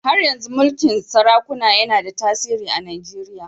Har yanzu mulkin sarakuna yana da tasiri a Najeriya.